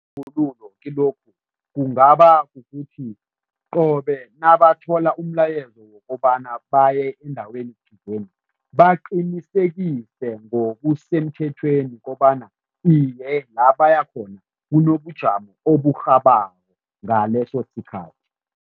Kilokhu kungaba kukuthi qobe nabathola umlayezo wokobana baye endaweni thizeni, baqinisekise ngokusemthethweni kobana iye, la baya khona kunobujamo oburhabako ngalesosikhathi.